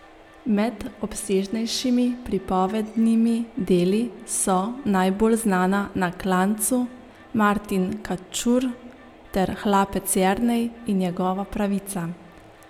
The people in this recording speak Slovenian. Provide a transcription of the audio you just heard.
Med obsežnejšimi pripovednimi deli so najbolj znana Na klancu, Martin Kačur ter Hlapec Jernej in njegova pravica.